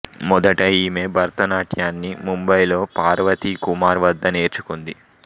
మొదట ఈమె భరతనాట్యాన్ని ముంబైలో పార్వతీ కుమార్ వద్ద నేర్చుకుంది